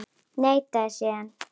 Neitaði síðan.